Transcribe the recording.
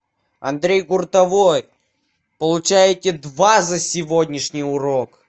андрей гуртовой получаете два за сегодняшний урок